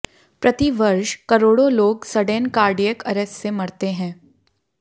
प्रति वर्ष करोड़ों लोग सडेन कार्डियक अरेस्ट से मरते हैं